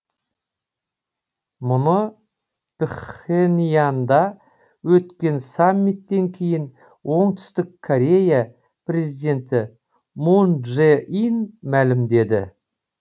мұны пхеньянда өткен саммиттен кейін оңтүстік корея президенті мун чжэ ин мәлімдеді